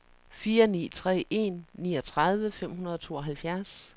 fire ni tre en niogtredive fem hundrede og tooghalvfjerds